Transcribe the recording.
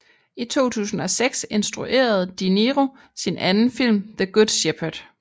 I 2006 instruerede De Niro sin anden film The Good Shepherd